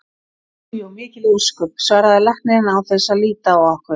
Jú jú, mikil ósköp, svaraði læknirinn án þess að líta á okkur.